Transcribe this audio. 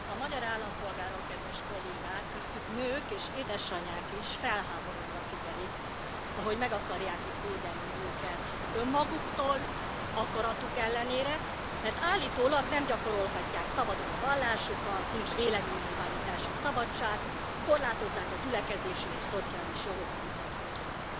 Tisztelt Elnök Úr! A magyar állampolgárok, kedves Kollégák, köztük nők és édesanyák is felháborodva figyelik, ahogy meg akarják itt védeni őket önmaguktól, akaratuk ellenére, mert állítólag nem gyakorolhatják szabadon a vallásukat, nincs véleménynyilvánítási szabadság, korlátozzák a gyülekezési és szociális jogaikat otthon.